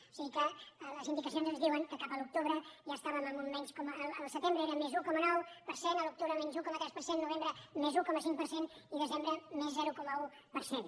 o sigui que les indicacions ens diuen que al setembre eren més un coma nou per cent a l’octubre menys un coma tres per cent novembre més un coma cinc per cent i desembre més zero coma un per cent